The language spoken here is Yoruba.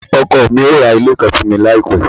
ọkọ mi yóò ra ile kan fun mi laipe